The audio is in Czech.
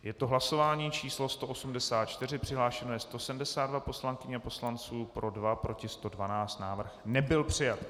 Je to hlasování číslo 184, přihlášeno je 172 poslankyň a poslanců, pro 2, proti 112, návrh nebyl přijat.